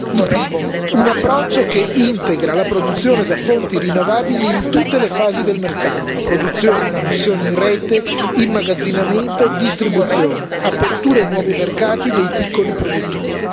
Il primo un approccio che integra la produzione da fonti rinnovabili in tutte le fasi del mercato produzione, immissione in rete, immagazzinamento, distribuzione, aperture a nuovi mercati dei piccoli produttori.